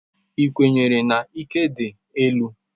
Ị kwenyere na ike dị elu?